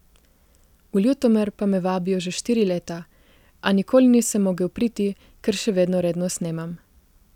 V Ljutomer pa me vabijo že štiri leta, a nikoli nisem mogel priti, ker še vedno redno snemam.